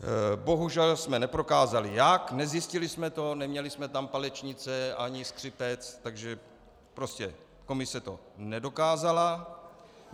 Bohužel jsme neprokázali jak, nezjistili jsme to, neměli jsme tam palečnice ani skřipec, takže prostě komise to nedokázala.